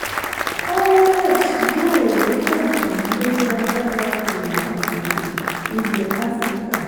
parallex yóò rí ànfààní lórí agbára okòwò àgbègbè ilẹ̀ áfíríkà.